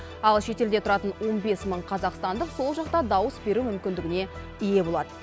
ал шетелде тұратын он бес мың қазақстандық сол жақта дауыс беру мүмкіндігіне ие болады